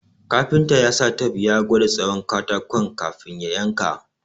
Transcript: Kafinta ya sa tep ya gwada tsawon katakon ka fin ya yanka